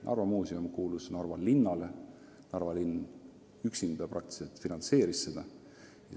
Narva Muuseum kuulus Narva linnale, Narva linn üksinda finantseeris seda.